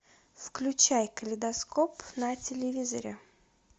включай калейдоскоп на телевизоре